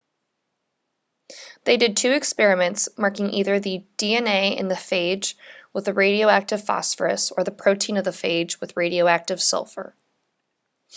they did two experiments marking either the dna in the phage with a radioactive phosphorus or the protein of the phage with radioactive sulfur